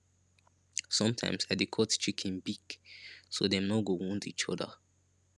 sometimes i dey cut chicken beak so dem no go wound each other